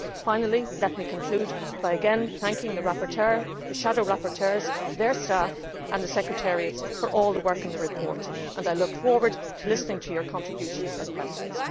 task. Finally, let me conclude by again thanking the rapporteur, the shadow rapporteurs, their staff and the secretariats for all the work on the report, and I look forward to listening to your contributions and questions.